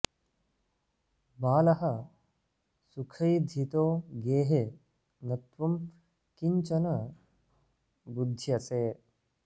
बालः सुखैधितो गेहे न त्वं किं चन बुध्यसे